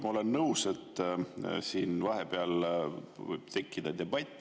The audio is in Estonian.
Ma olen nõus, et siin vahepeal võib tekkida debatt.